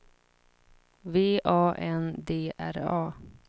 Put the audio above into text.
V A N D R A